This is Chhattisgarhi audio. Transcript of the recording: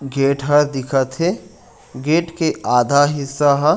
गेट ह दिखत है गेट के आधा हिसा ह--